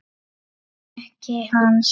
Ekki hans.